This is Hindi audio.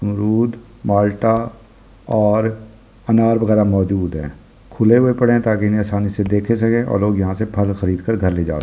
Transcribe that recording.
अमरुद माल्टा और अन्नार वगेरा मह्जुद है खुले हुए पड़े है ताकि इसे आसानी से देखे सके और लोग यहाँ से फ़ल खरीद कर घर ले जा सके ।